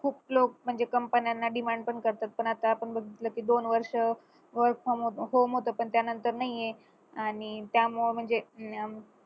खूप लोक म्हणजे company ना demand पण करतात पण आता आपण बघितलं की दोन वर्ष पण त्यांना तर नाही आणि त्यामुळे म्हणजे